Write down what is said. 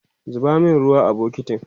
zuba min ruwa a bukitin!